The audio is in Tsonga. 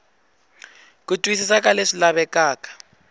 ku twisisa ka leswi lavekaka